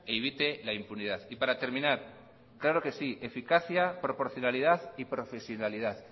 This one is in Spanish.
evite la impunidad y para terminar claro que sí eficacia proporcionalidad y profesionalidad